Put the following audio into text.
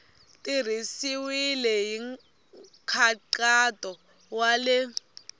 tirhisiwile hi nkhaqato wa le